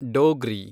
Dogri